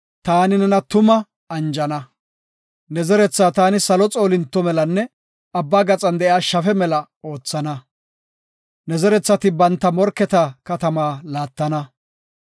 taani nena tuma anjana. Ne zeretha taani salo xoolinto melanne abba gaxan de7iya shafe mela oothana. Ne zerethati banta morketa katamata laattana.